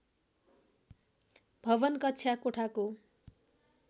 भवन कक्षा कोठाको